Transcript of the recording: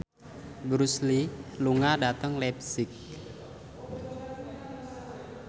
Bruce Lee lunga dhateng leipzig